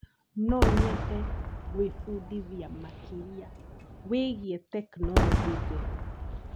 No nyende gwĩbundithia makĩria wĩgiĩ tekinoronjĩ njerũ.